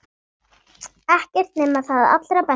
Ekkert nema það allra besta.